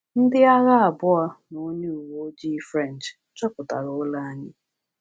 Ndị agha abụọ na onye uweojii French chọpụtara ụlọ anyị.